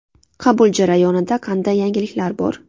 Qabul jarayonida qanday yangiliklar bor?